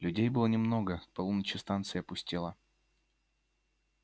людей было немного к полуночи станция пустела